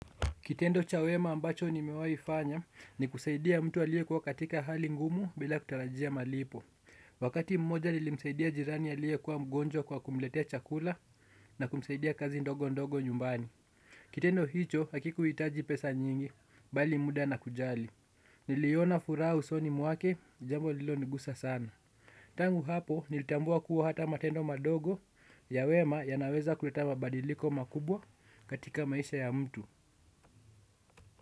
Kitendo cha wema ambacho nimewaifanya ni kusaidia mtu aliekuwa katika hali ngumu bila kutarajia malipo. Wakati mmoja nilimsaidia jirani aliekuw mgonjw kwa kumletea chakula na kumsaidia kazi ndogo ndogo nyumbani. Kitendo hicho hakikuhitaji pesa nyingi bali muda na kujali. Niliona furah usoni mwake jambo lilonigusa sana. Tangu hapo nilitambua kuwa hata matendo madogo ya wema yanaweza kuleta mabadiliko makubwa katika maisha ya mtu.